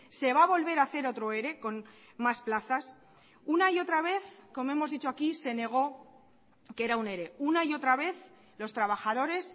se va a volver a hacer otro ere con más plazas una y otra vez como hemos dicho aquí se negó que era un ere una y otra vez los trabajadores